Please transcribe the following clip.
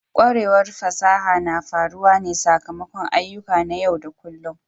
Kwarewar fasaha na faruwa ne sakamakon ayyuka na yau da kullun.